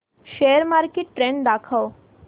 share market trend दाखव